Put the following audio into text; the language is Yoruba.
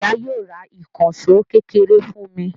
Ìyá yóò ra ìkànṣọ́ kékeré fún ní